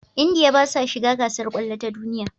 India basa shiga gasar kwallo ta duniya